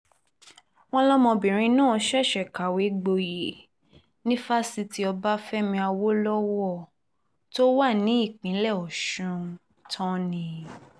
wọ́n lọmọbìnrin náà ṣẹ̀ṣẹ̀ kàwé gboyè ní fásitì ọbáfẹ́mi awolowo tó wà nípìnlẹ̀ ọ̀sùn tán ni